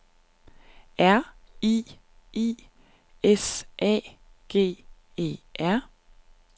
R I I S A G E R